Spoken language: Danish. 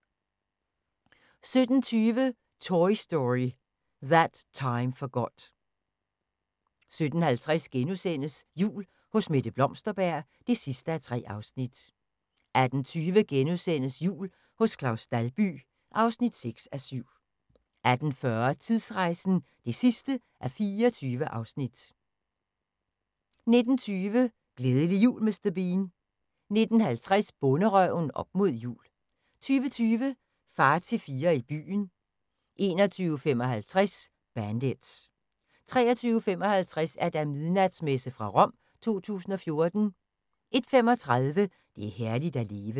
17:25: Toy Story That Time Forgot 17:50: Jul hos Mette Blomsterberg (3:3)* 18:20: Jul hos Claus Dalby (6:7)* 18:40: Tidsrejsen (24:24) 19:20: Glædelig jul Mr. Bean 19:50: Bonderøven – op mod jul 20:20: Far til fire i byen 21:55: Bandits 23:55: Midnatsmessen fra Rom 2014 01:35: Det er herligt at leve